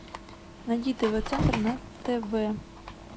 найди тв центр на тв